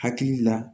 Hakili la